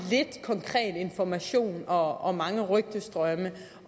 konkret information og mange rygtestrømme